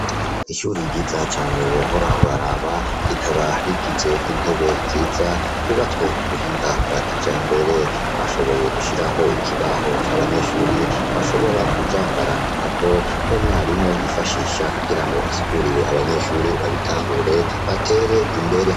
Ishure ryiza cane wohora uraraba, rikaba rigize n'intebe nziza ryubatswe k'ubuhinga bwa kijambere, bashoboye gushiraho ikibaho c'abanyeshure bashobora kuza barandikako, n'umwarimu yifashisha kugira ngo asigurire abanyeshure babitahure batere imbere.